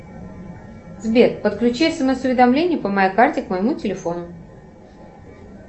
сбер подключи смс уведомления по моей карте к моему телефону